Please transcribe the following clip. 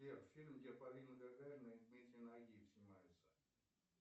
сбер фильм где полина гагарина и дмитрий нагиев снимается